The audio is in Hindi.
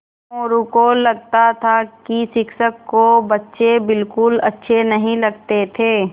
मोरू को लगता था कि शिक्षक को बच्चे बिलकुल अच्छे नहीं लगते थे